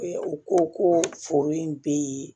U ko ko foro in be yen